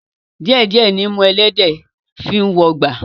Díẹ̀ díẹ̀ nimú ẹlẹ́dẹ̀ẹ́ fi ń wọgbà